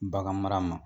Bagan mara ma